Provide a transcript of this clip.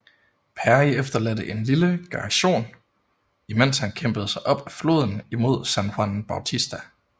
Perry efterladte en lille garsion imens han kæmpede sig op af floden imod San Juan Bautista